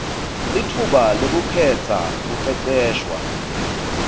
litfuba lekukhetsa kuceceshwa